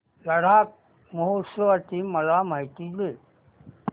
लडाख महोत्सवाची मला माहिती दे